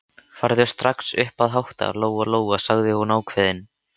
Farðu strax upp að hátta, Lóa-Lóa, sagði hún ákveðin.